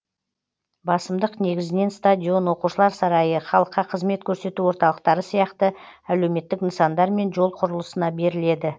басымдық негізінен стадион оқушылар сарайы халыққа қызмет көрсету орталықтары сияқты әлеуметтік нысандар мен жол құрылысына беріледі